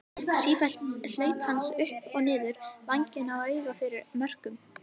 Sífelld hlaup hans upp og niður vænginn og auga fyrir mörkum.